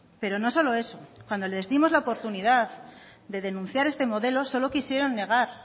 pero no solo eso cuando le dimos la oportunidad de denunciar este modelo solo quisieron negar